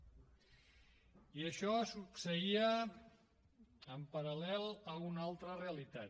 i això succeïa en paral·lel a una altra realitat